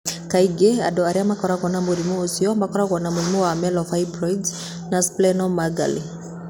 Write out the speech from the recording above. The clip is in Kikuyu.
Kaingĩ andũ arĩa makoragwo na mũrimũ ũcio makoragwo na mũrimũ wa myelofibrosis na splenomegaly.